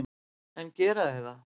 En gera þau það?